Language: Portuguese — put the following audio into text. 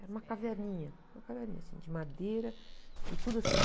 Era uma caverninha, uma caverninha assim, de madeira e tudo assim.